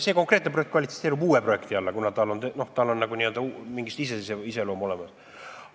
See konkreetne projekt kvalifitseerub uueks projektiks, kuna tal on n-ö iseseisev iseloom olemas.